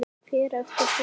Fer eftir dögum.